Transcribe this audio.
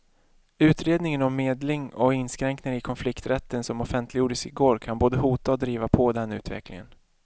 Utredningen om medling och inskränkningar i konflikträtten som offentliggjordes i går kan både hota och driva på den utvecklingen.